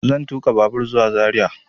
Zan tuƙa babur zuwa zaria